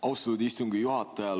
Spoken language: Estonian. Austatud istungi juhataja!